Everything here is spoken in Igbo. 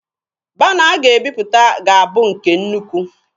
Bana a ga-ebiputa ga-abụ nke nnukwu.